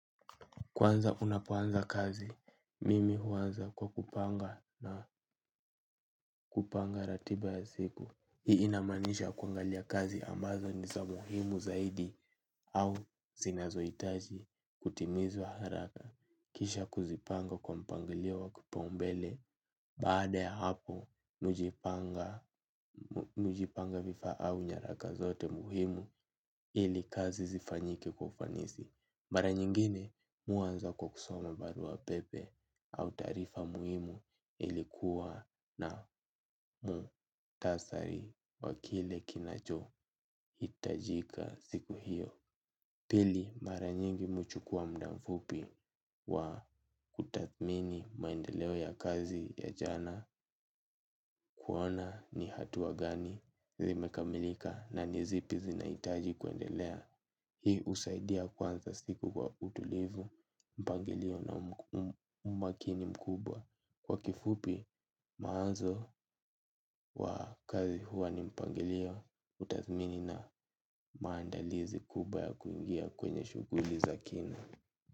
Kwanza unapoanza kazi, mimi huanza kwa kupanga na kupanga ratiba ya siku. Hii inamaanisha kuangalia kazi ambazo ni za muhimu zaidi au zinazohitaji kutimizwa haraka. Kisha kuzipanga kwa mpangilio wa kipaumbele baada ya hapo mi hujipanga vifaa au nyaraka zote muhimu ili kazi zifanyike kwa ufanisi. Mara nyingine mi huanza kwa kusoma baruapepe au taarifa muhimu ili kuwa na mukhtasari wa kile kinachohitajika siku hiyo. Pili mara nyingi mi huchukua muda mfupi wa kutathmini maendeleo ya kazi ya jana kuona ni hatua gani zimekamilika na nizipi zinahitaji kuendelea. Hii husaidia kuanza siku kwa utulivu mpangilio na umakini mkubwa. Kwa kifupi mawazo wa kazi huwa ni mpangilio utathmini na maandalizi kubwa ya kuingia kwenye shuguli za kina.